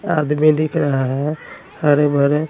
आदमी दिख रहा हैं हरे भरे--